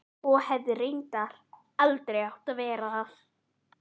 Og hefði reyndar aldrei átt að verða það.